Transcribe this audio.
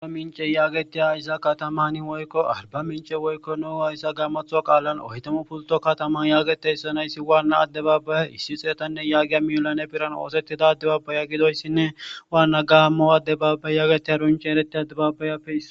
Aarbamince yageti katamani woyiko hayisa gamotho qalani oyitamu puluto yagetiya katama wanna adebabayi issi xetane million giya birani ossetida adababaye besees wanna adababaye ariba mice eretidasape issuwa